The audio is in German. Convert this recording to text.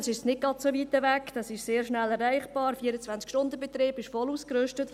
Diese ist nicht so weit weg, sie ist sehr schnell erreichbar, hat 24-Stunden-Betrieb und ist voll ausgerüstet.